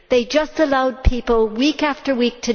They just allowed people to die, week after week.